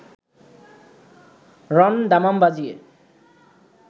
রণ-দামাম বাজিয়ে